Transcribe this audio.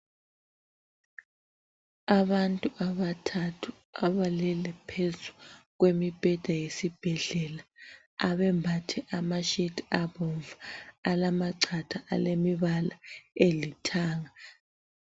Abantu abathathu abalele phezu kwemibheda yesibhedlela abambathe amashiti abomvu alamachatha alemibala elithanga.